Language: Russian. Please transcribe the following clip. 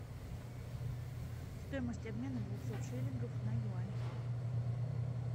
стоимость обмена двухсот шиллингов на юань